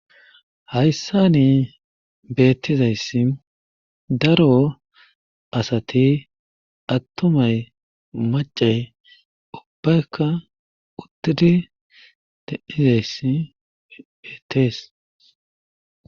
Hayssani beettizayssi daro asati attumay maaccay ubbayka uttidi de7izayssi beetees.